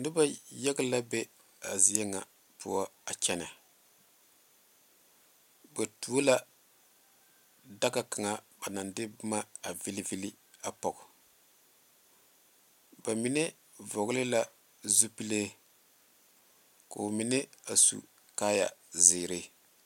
Noba yaga la be a zie ŋa poɔ a kyɛne ba tuo la daga kaŋa ba naŋ de boma a vile vile a pɔge ba mine vɔgle la zupele ko'o mine a su kaaya ziiri.